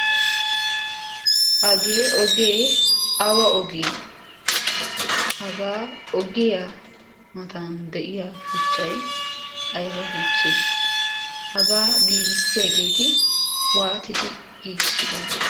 hagee ogee awa ogee hagaa oggiya matan de'iya shuchchai aiba shuchchee hagaa giigissiyaageeti waatidi giigissidona?